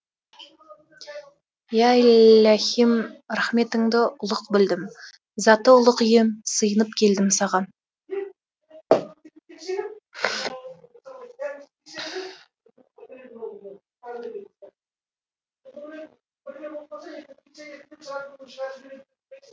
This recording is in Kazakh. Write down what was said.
иә иләһим рахметіңді ұлық білдім заты ұлық ием сиынып келдім саған